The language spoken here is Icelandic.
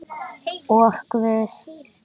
Og Guð.